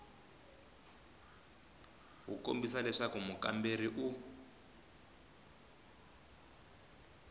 wu kombisa leswaku mukamberiwa u